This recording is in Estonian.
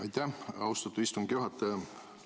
Aitäh, austatud istungi juhataja!